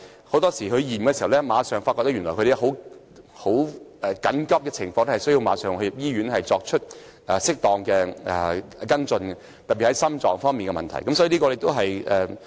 很多時候令我們吃驚的是，長者經檢查後發現情況緊急，需要立即入院作適當的跟進，特別是心藏方面的問題。